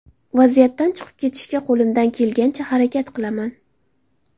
Vaziyatdan chiqib ketishga qo‘limdan kelgancha harakat qilaman.